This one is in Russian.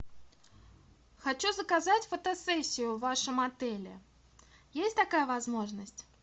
хочу заказать фотосессию в вашем отеле есть такая возможность